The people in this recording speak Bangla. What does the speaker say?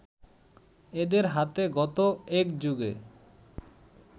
এদের হাতে গত একযুগে